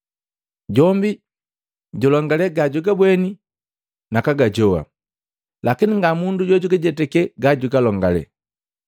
Jombi julongale gajagabweni nakaga jowa, lakini nga mundu jojujetake gajagalongale.